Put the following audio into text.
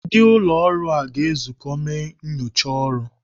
Ndị ụlọ ọrụ a ga-ezụkọta mee nnyocha ọrụ.